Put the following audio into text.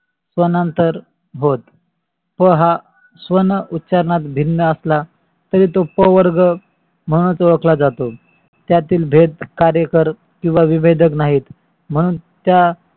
स्वनंतर होय. स्व हा स्वन उच्चारणात भिन्न असला तरी तो स्व वर्ग म्हणूनच ओळखला जातो. त्यातील भेद कार्यकर किवा विवेदक नाहीत. म्हणून त्या